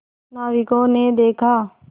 नाविकों ने देखा